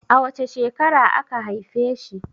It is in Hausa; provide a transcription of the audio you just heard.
A wace shekara aka haife shi?